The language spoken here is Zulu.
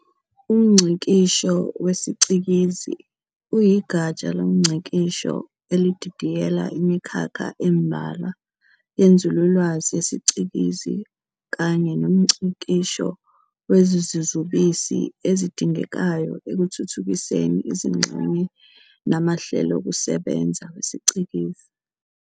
umNgcikisho wesiCikizi uyigatsha limngcikisho elididiyela imikhakha embalwa yenzululwazi yesiCikizi kanye nomngcikisho wezizubisi ezidingekayo ekutuuthukiseni izingxenye namahlelokusebenza wesiCikizi.